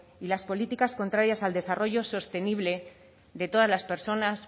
y las políticas contrarias al desarrollo sostenible de todas las personas